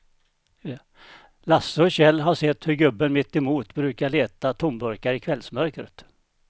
Lasse och Kjell har sett hur gubben mittemot brukar leta tomburkar i kvällsmörkret.